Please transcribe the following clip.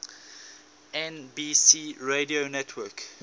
nbc radio network